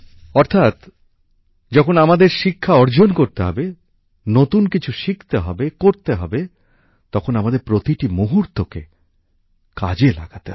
অর্থাৎ যখন আমাদের শিক্ষা অর্জন করতে হবে নতুন কিছু শিখতে হবে করতে হবে তখন আমাদের প্রতিটি মুহূর্তকে কাজে লাগাতে হবে